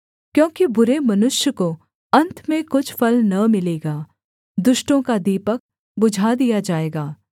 क्योंकि बुरे मनुष्य को अन्त में कुछ फल न मिलेगा दुष्टों का दीपक बुझा दिया जाएगा